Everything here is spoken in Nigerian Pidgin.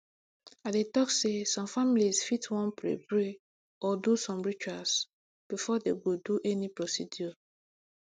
i dey talk say some families fit wan pray pray or do some rituals before dem go do any procedure